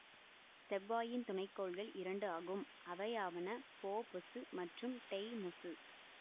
செவ்வாயின் துணை கோள்கள் இரண்டு ஆகும் அவையாவன போபொசு மற்றும் டெய்மொசு